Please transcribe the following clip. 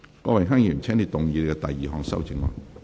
郭榮鏗議員，請動議你的第二項修正案。